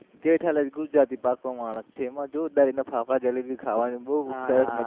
જેઠાલાલ ગુજરાતી પાક્કો માણસ છે એમાં જોરદાર એના ફાફડા જલેબી ખાવાની બોવ